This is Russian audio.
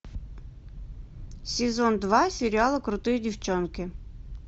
сезон два сериала крутые девчонки